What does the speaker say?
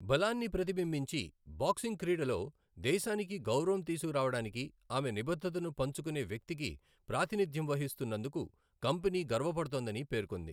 బలాన్ని ప్రతిబింబించి బాక్సింగ్ క్రీడలో దేశానికి గౌరవం తీసుకురావడానికి ఆమె నిబద్ధతను పంచుకునే వ్యక్తికి ప్రాతినిధ్యం వహిస్తున్నందుకు కంపెనీ గర్వపడుతోందని పేర్కొంది.